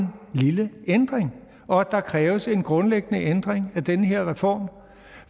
lille ændring og at der kræves en grundlæggende ændring af den her reform